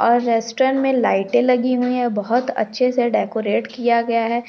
और रेस्टोरेंट में लाइटे लगी हुई है बहुत अच्छे से डेकोरेट किया गया है